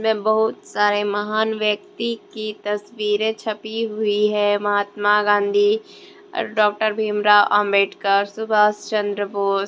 बहुत सारे महान व्यक्ति की तस्वीरे छपी हुई है महात्मा गांधी डॉक्टर भीमराव अंबेडकर सुभाष चंद्र बोस।